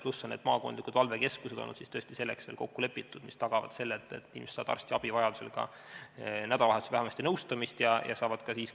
Pluss on veel kokku lepitud maakondade valvekeskused, mis tagavad selle, et inimesed saavad vajaduse korral ka nädalavahetusel arstiabi või vähemasti nõustamist.